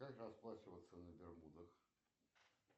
как расплачиваться на бермудах